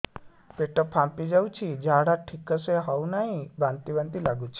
ପେଟ ଫାମ୍ପି ଯାଉଛି ଝାଡା ଠିକ ସେ ହଉନାହିଁ ବାନ୍ତି ବାନ୍ତି ଲଗୁଛି